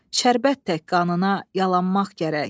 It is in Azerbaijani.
şərbət tək qanına yalanmaq gərək.